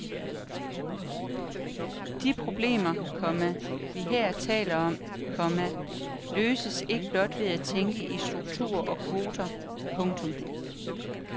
De problemer, komma vi her taler om, komma løses ikke blot ved at tænke i strukturer og kvoter. punktum